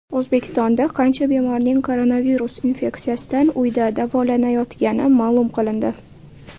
O‘zbekistonda qancha bemorning koronavirus infeksiyasidan uyda davolanayotgani ma’lum qilindi.